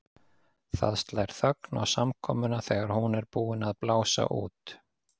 Það slær þögn á samkomuna þegar hún er búin að blása út.